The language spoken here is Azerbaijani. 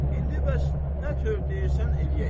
İndi bəs nə tör deyirsən eləyək.